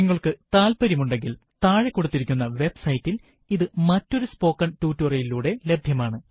നിങ്ങൾക്കു താല്പര്യം ഉണ്ടെങ്കിൽ താഴെ കൊടുത്തിരിക്കുന്ന വെബ് സൈറ്റിൽ ഇത് മറ്റൊരു സ്പോകൺ ടുടോരിയലിലൂടെ ലഭ്യമാണ്